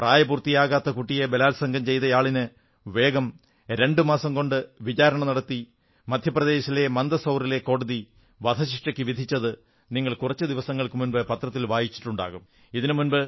പ്രായപൂർത്തിയാകാത്ത കുട്ടിയെ ബലാത്സംഗം ചെയ്തയാളിന് വേഗം രണ്ടുമാസം കൊണ്ട് വിചാരണ നടത്തി മധ്യപ്രദേശിലെ മന്ദ്സൌറിലെ കോടതി വധശിക്ഷയ്ക്കു വിധിച്ചത് നിങ്ങൾ കുറച്ചു ദിവസങ്ങൾക്കുമുമ്പ് പത്രത്തിൽ വായിച്ചിട്ടുണ്ടാകും